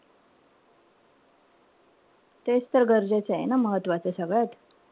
तेच तर गरजेचेय ना मग महत्वाचं सगळ्यात.